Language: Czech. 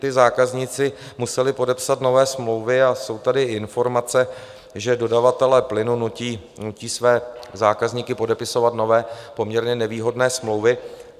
Ti zákazníci museli podepsat nové smlouvy a jsou tady informace, že dodavatelé plynu nutí své zákazníky podepisovat nové, poměrně nevýhodné smlouvy.